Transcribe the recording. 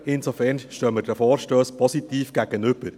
Insofern stehen wir den Vorstössen positiv gegenüber.